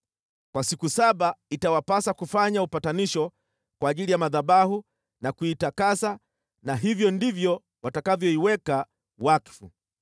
Kwa siku saba itawapasa kufanya upatanisho kwa ajili ya madhabahu na kuitakasa na hivyo ndivyo watakavyoiweka wakfu.